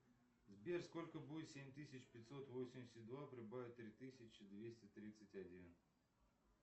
сбер сколько будет семь тысяч пятьсот восемьдесят два прибавить три тысячи двести тридцать один